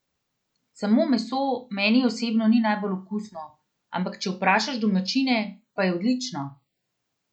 Samo meso meni osebno ni najbolj okusno, ampak če vprašaš domačine, pa je odlično!